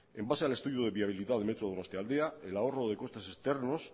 en base al estudio de viabilidad de metro donostialdea el ahorro de costes externos